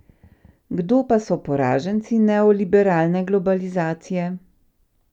Kdo pa so poraženci neoliberalne globalizacije?